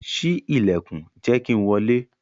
Ṣii ilẹkun, jẹ ki n wọle!